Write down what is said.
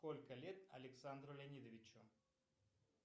сколько лет александру леонидовичу